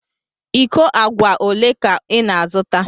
Íkó àgwà ólé ka ị na-azụta?